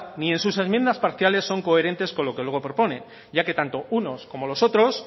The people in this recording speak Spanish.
ni en sus enmienda parciales son coherentes con lo que luego propone ya que tanto unos como los otros